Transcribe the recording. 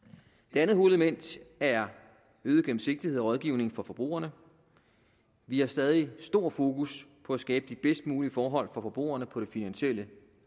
det andet hovedelement er øget gennemsigtighed og rådgivning for forbrugerne vi har stadig stor fokus på at skabe de bedst mulige forhold for forbrugerne på det finansielle